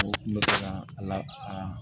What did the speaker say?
a la a